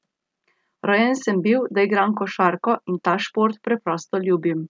Rojen sem bil, da igram košarko, in ta šport preprosto ljubim.